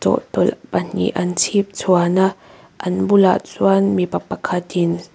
bottle pahnih an chhipchhuan a an bulah chuan mipa pakhatin.